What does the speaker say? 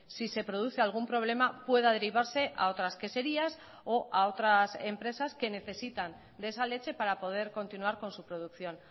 si se produce algún problema pueda derivarse a otras queserías o a otras empresas que necesitan de esa leche para poder continuar con su producción